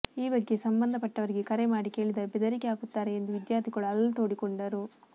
ಈ ಬಗ್ಗೆ ಸಂಬಂಧಪಟ್ಟವರಿಗೆ ಕರೆ ಮಾಡಿ ಕೇಳಿದರೆ ಬೆದರಿಕೆ ಹಾಕುತ್ತಾರೆ ಎಂದು ವಿದ್ಯಾರ್ಥಿಗಳು ಅಳಲು ತೋಡಿ ಕೊಂಡರು